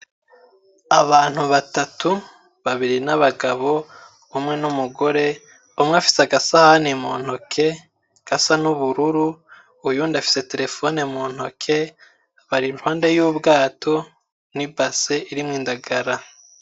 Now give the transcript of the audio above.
Abantu batatu, babiri n'abagabo, umwe n'umugore, umwe afise agasahani mu ntoke gasa n'ubururu, uyundi afise terefone mu ntoke, bari impande y'ubwato n'ibase irimwo indagara.